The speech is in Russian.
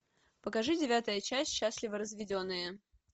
покажи девятая часть счастливо разведенные